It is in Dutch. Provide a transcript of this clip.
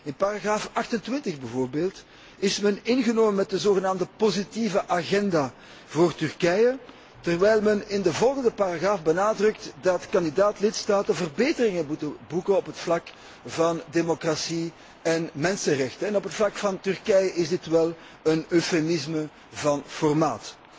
In paragraaf 28 bijvoorbeeld is men ingenomen met de zogenaamde positieve agenda voor Turkije, terwijl men in de volgende paragraaf benadrukt dat kandidaat lidstaten verbeteringen moeten boeken op het vlak van democratie en mensenrechten. En wat betreft Turkije is dit wel een eufemisme van formaat.